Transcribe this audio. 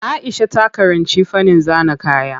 Aisha ta karanci fannin zana kaya.